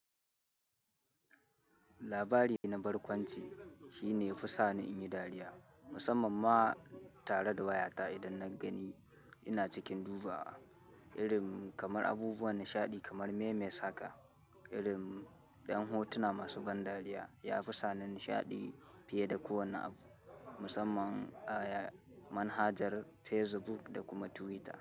Labari na barkwanci shi ne ya fi sa ni in yi dariya musamman ma tare da wayata idan na gani ina cikin dubawa. Irin kamar abubuwan nishaɗi kamar memes haka, irin ɗan hotuna masu ban dariya ya fi sa ni nishaɗi fiye da kowane abu. Musamman a manhajar Facebook da kuma Twitter.